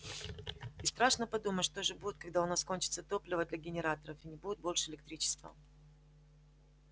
и страшно подумать что же будет когда у нас кончится топливо для генераторов и не будет больше электричества